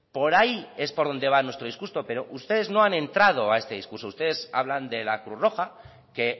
por ahí es por donde va nuestro discurso pero ustedes no han entrado a este discurso ustedes hablan de la cruz roja que